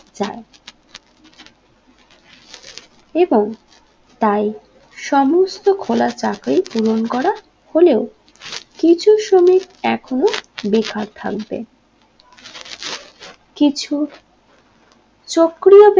এবং তাই সমস্ত খোলা চাকরি পূরণ করা হলেও কিছু শ্রমিক এখনও বেকার থাকবে কিছু চক্র